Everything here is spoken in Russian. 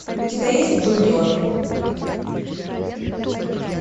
у тебя есть джуниор